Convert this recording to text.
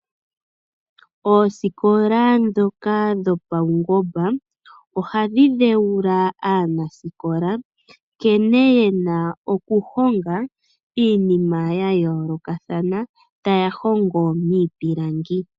Oosikola ndhoka dhopaungomba ohadhi dheula aanasikola, nkene yena okuhonga iinima yayoolokathana, taya hongo niipilangi.